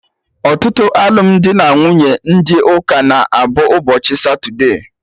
Ọtụtụ alụmdi na nwunye ndị ụka na-abụ ụbọchị satude